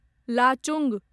Lachung